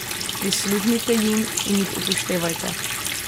Prisluhnite jim in jih upoštevajte.